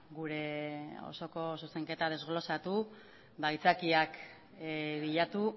gure osoko zuzenketa desglosatu ba aitzakiak bilatu